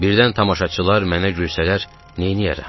Birdən tamaşaçılar mənə gülsələr, neyləyərəm?